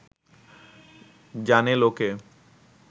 জানে লোকে